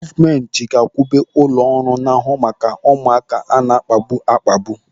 Gọọmenti ga-iwube ụlọ ọrụ ga-ana ahụ maka ụmụaka a na-akpagbu akpagbu.